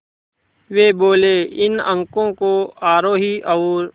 वे बोले इन अंकों को आरोही और